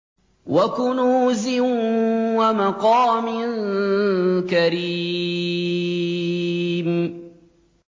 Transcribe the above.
وَكُنُوزٍ وَمَقَامٍ كَرِيمٍ